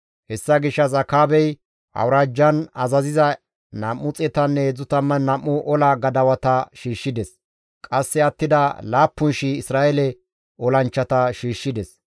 Hessa gishshas Akaabey awuraajjan azaziza 232 ola gadawata shiishshides. Qasse attida 7,000 Isra7eele olanchchata shiishshides.